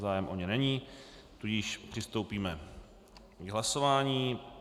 Zájem o ně není, tudíž přistoupíme k hlasování.